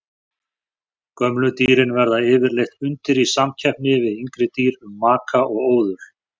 Gömlu dýrin verða yfirleitt undir í samkeppni við yngri dýr um maka og óðul.